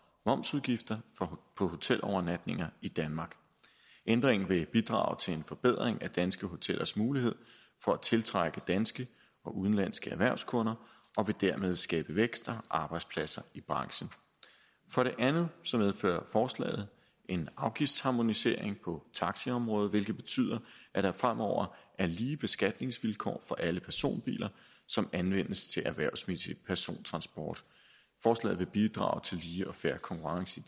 momsudgifter på hotelovernatninger i danmark ændringen vil bidrage til en forbedring af danske hotellers mulighed for at tiltrække danske og udenlandske erhvervskunder og vil dermed skabe vækst og arbejdspladser i branchen for det andet medfører forslaget en afgiftsharmonisering på taxiområdet hvilket betyder at der fremover er lige beskatningsvilkår for alle personbiler som anvendes til erhvervsmæssig persontransport forslaget vil bidrage til lige og fair konkurrence i